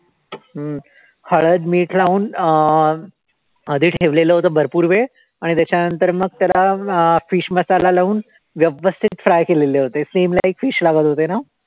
हम्म हळद मीठ लावून अं आधी ठेवलेलं होतं भरपूर वेळ आणि त्याच्यानंतर मग त्याला अं fish मसाला लावून व्यवस्थित fry केलेले होते, same like fish लागत होते ना?